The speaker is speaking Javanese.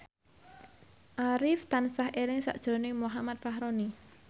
Arif tansah eling sakjroning Muhammad Fachroni